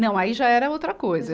Não, aí já era outra coisa.